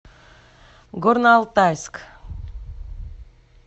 горно алтайск